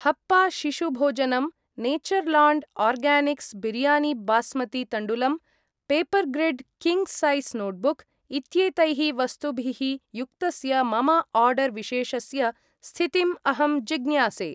हप्पा शिशुभोजनम् , Natureland Organics biryani basmati तण्डुलम् , Papergrid king size notebook इत्येतैः वस्तुभिः युक्तस्य मम आर्डर् विशेषस्य स्थितिम् अहं जिज्ञासे?